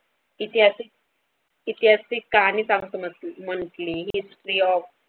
इतिहास ऐतिहासिक कार्य सांगतो नसतो म्हणून ते स्री.